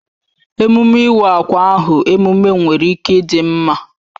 Emume iwa akwa ahụ emume nwere ike dị mma